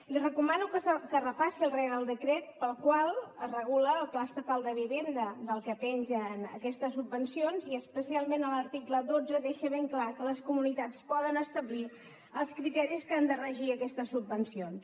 li recomano que repassi el reial decret pel qual es regula el pla estatal de vivenda del que pengen aquestes subvencions i especialment l’article dotze deixa ben clar que les comunitats poden establir els criteris que han de regir aquestes subvencions